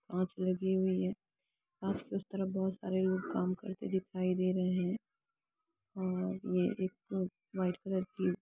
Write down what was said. पीछे अंदर बहुत सारे लोग नजर आ रहे हैं पेड़ भी दिख रहे हैं आसपास बहुत सारे पेड़ दिख रहे हैं एक पोस्ट भी लगा हुआ है अंदर बहुत सारे लोग--